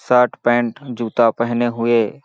Shirt pant जूता पहने हुए।